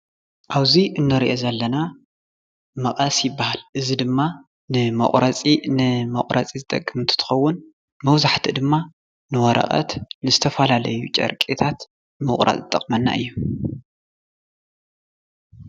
ኣብዚ እንሪኦ ዘለና መቐስ ይባሃል፡፡ እዚ ድማ ንመቑረፂ ዝጠቅም እንትትከውን መብዛሕትኡ ድማ ንወረቐት ንዝተፈላለዩ ጨርቅታት ዝጠቅመና እዩ፡፡